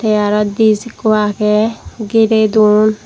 tey arow dis ikko agey girey don.